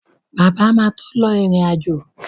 Bàbá máa tó lọ ìrìn-àjò